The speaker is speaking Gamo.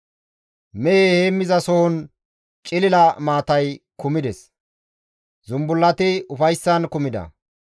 Mehe heemmizasohon cilila maatay kumides; zumbullati ufayssan kumida.